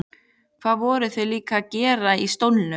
Hvað voru þau líka að gera í stólnum?